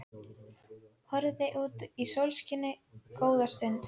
Horfði út í sólskinið góða stund.